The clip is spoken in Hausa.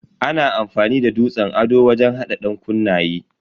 Ana amfani da dutsen ado wajen hada dankunnaye.